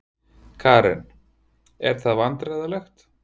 Karen: Er það vandræðalegt?